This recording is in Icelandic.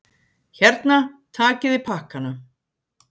Hérna, takiði pakkana!